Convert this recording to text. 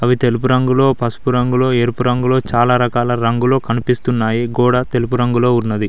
అవి తెలుపు రంగులో పసుపు రంగులో ఎరుపు రంగులో చాలా రకాల రంగులు కనిపిస్తున్నాయి గోడ తెలుపు రంగులో ఉన్నది.